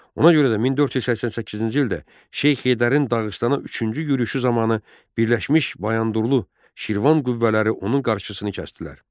Ona görə də 1488-ci ildə Şeyx Heydərin Dağıstana üçüncü yürüşü zamanı Birləşmiş Bayandurlu Şirvan qüvvələri onun qarşısını kəsdilər.